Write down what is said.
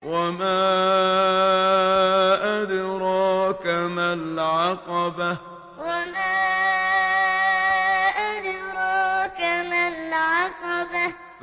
وَمَا أَدْرَاكَ مَا الْعَقَبَةُ وَمَا أَدْرَاكَ مَا الْعَقَبَةُ